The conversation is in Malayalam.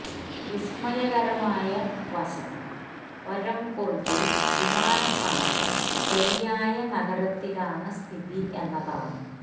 വിസ്മയകരമായ വശം ഒരെംപുർഗ് ൽ വിമാനത്താവളം ശരിയായ നഗരത്തിലാണ് സ്ഥിതി എന്നതാണ്